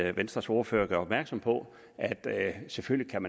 at venstres ordfører gør opmærksom på at man selvfølgelig